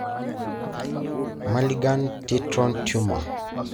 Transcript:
Malignant triton tumor.